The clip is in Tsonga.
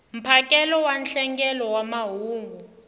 mphakelo wa nhlengelo wa mahungu